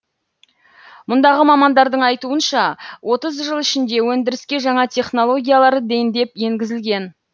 мұндағы мамандардың айтуынша отыз жыл ішінде өндіріске жаңа технологиялар дендеп енгізілген